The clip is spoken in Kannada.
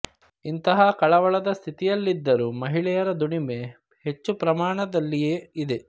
ಇಂತಹ ಕಳವಳದ ಸ್ಥ್ಹಿತಿಯಲ್ಲಿದ್ದರೂ ಮಹಿಳೆಯರ ದುಡಿಮೆ ಹೆಚ್ಚು ಪ್ರಮಾಣದಲ್ಲಿಯೆ ಇದೆ